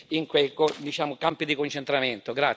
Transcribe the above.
in quei diciamo campi di concentramento.